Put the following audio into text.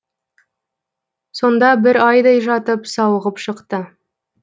сонда бір айдай жатып сауығып шықты